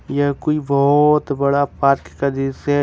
यह कोई बहोत बड़ा पार्क का दृश्य है।